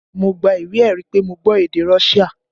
Mo gba ìwé ẹ̀rí pé mo gbọ́ èdè Russia